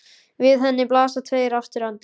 Við henni blasa tveir aftur endar.